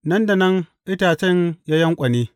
Nan da nan itacen ya yanƙwane.